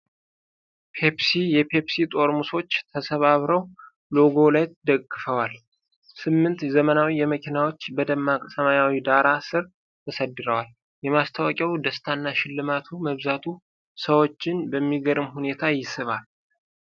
ሶስት የፔፕሲ ጠርሙሶች ተሰባጥረው ሎጎውን ከላይ ደግፈዋል። ስምንት ዘመናዊ መኪናዎች በደማቅ ሰማያዊው ዳራ ሥር ተሰድረዋል። የማስታወቂያው ደስታና ሽልማቱ መብዛቱ ሰዎችን በሚገርም ሁኔታ ይስባል።